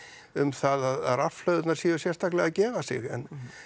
um það að rafhlöðurnar séu sérstaklega að gefa sig en